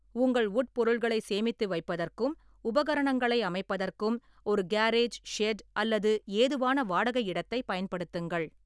உங்கள் உட்பொருள்களைச் சேமித்து வைப்பதற்கும் உபகரணங்களை அமைப்பதற்கும் ஒரு கேரேஜ், ஷெட் அல்லது ஏதுவான வாடகை இடத்தைப் பயன்படுத்துங்கள்.